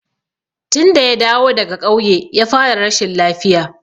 Tun da ya dawo daga ƙauye ya fara rashin lafiya.